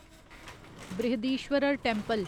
Brihadeeswarar temple